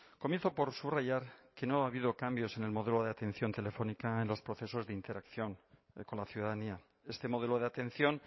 comienzo por subrayar que no ha habido cambios en el modelo de atención telefónica en los procesos de interacción con la ciudadanía este modelo de atención